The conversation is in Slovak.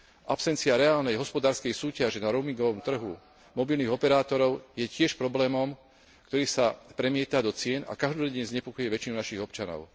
Absencia reálnej hospodárskej súťaže na roamingovom trhu mobilných operátorov je tiež problémom, ktorý sa premieta do cien a každodenne znepokojuje väčšinu našich občanov.